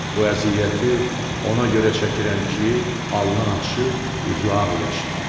Bu əziyyəti ona görə çəkirəm ki, alnıaçıq, üzüağ yaşayım.